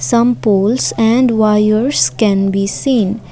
some poles and wires can be seen.